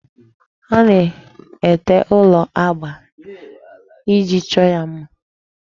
A na-ete ụlọ agba iji chọọ ya mma.